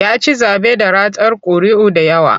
Ya ci zaɓe da ratar ƙuri'u da yawa.